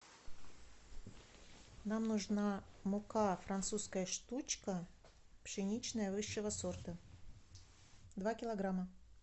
нам нужна мука французская штучка пшеничная высшего сорта два килограмма